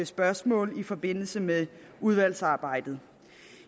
spørgsmål i forbindelse med udvalgsarbejdet